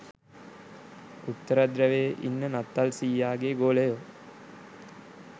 උත්තරධ්‍රැවයේ ඉන්න නත්තල් සීයගෙ ගෝලයෝ